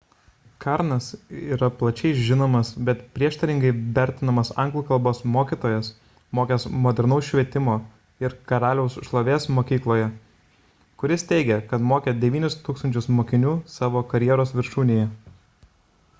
karnas yra plačiai žinomas bet prieštaringai vertinamas anglų kalbos mokytojas mokęs modernaus švietimo ir karaliaus šlovės mokykloje kuris teigė kad mokė 9000 mokinių savo karjeros viršūnėje